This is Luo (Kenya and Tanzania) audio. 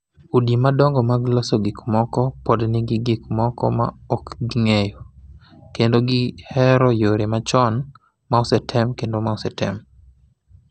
Udi madongo mag loso gikmoko pod nigi gik moko ma ok gigeng’o, kendo gihero yore machon ma osetem kendo ma osetem.